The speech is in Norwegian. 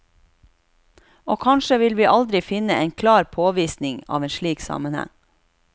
Og kanskje vil vi aldri finne en klar påvisning av slik sammenheng.